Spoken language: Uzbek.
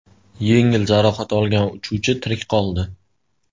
Yengil jarohat olgan uchuvchi tirik qoldi.